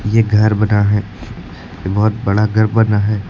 ये घर बना है बहोत बड़ा घर बना है।